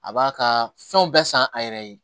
A b'a ka fɛnw bɛɛ san a yɛrɛ ye